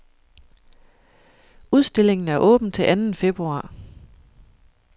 Udstillingen er åben til anden februar.